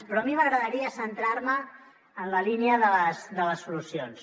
però a mi m’agradaria centrar me en la línia de les solucions